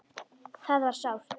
Það var sárt.